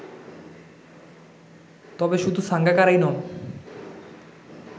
তবে শুধু সাঙ্গাকারাই নন